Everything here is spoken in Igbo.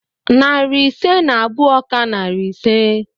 Narị ise na abụọ ka narị ise.